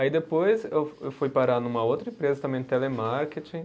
Aí depois eu eu fui parar numa outra empresa também de, telemarketing.